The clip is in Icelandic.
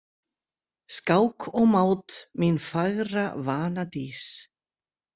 Skák og mát, mín fagra vanadís.